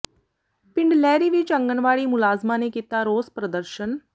ਪਿੰਡ ਲਹਿਰੀ ਵਿਚ ਆਂਗਣਵਾੜੀ ਮੁਲਾਜ਼ਮਾਂ ਨੇ ਕੀਤਾ ਰੋਸ ਪ੍ਰਦਰਸ਼ਨ